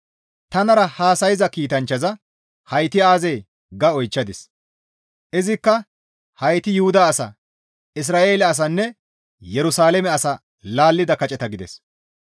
Tanara haasayza kiitanchchaza, «Hayti aazee?» ga oychchadis; izikka, «Hayti Yuhuda asa, Isra7eele asanne Yerusalaame asaa laallida kaceta» gides.